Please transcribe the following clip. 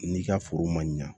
N'i ka foro ma ɲa